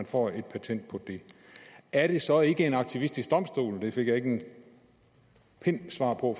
får et patent på det er det så ikke en aktivistisk domstol det fik jeg ikke en pind svar på